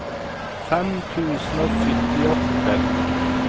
fem tusen og syttiåtte